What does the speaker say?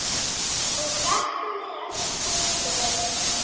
og þökkum við öll fyrir.